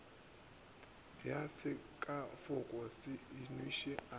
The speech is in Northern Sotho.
ya sekafoko se inweše a